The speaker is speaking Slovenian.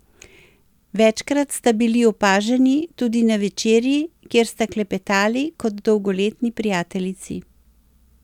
Večkrat sta bili opaženi tudi na večerji, kjer sta klepetali kot dolgoletni prijateljici.